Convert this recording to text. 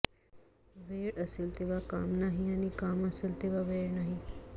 वेळ असेल तेव्हा काम नाही आणि काम असेल तेव्हा वेळ नाही